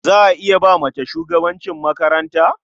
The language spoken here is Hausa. Za a iya ba mace shugabancin makaranta?